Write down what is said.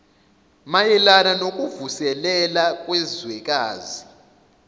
mayelana nokuvuselela kwezwekazi